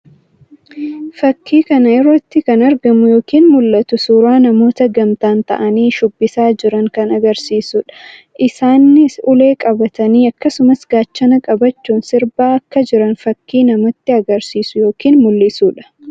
Fakkii kana irratti kan argamu yookiin mul'atu suuraa namoota gamtaan ta'anii shuubbisaa jiran kan agarsiisuu dha. Isaannis ulee qabatanii akkasumas gaachana qabachuun sirbaa akka jiran fakkii namatti agarsiisu yookiin mul'isuu dha.